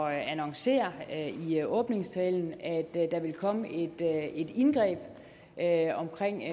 at annoncere i åbningstalen at der ville komme et indgreb